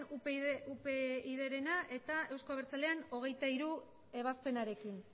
upydrena eta euzko abertzaleen hogeita hiru ebazpenarekin